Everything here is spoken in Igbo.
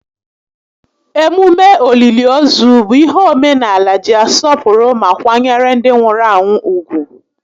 Emume òlìlì ozu bụ ihe omenaala ji asọpụrụ ma kwanyere ndị nwụrụ anwụ ùgwù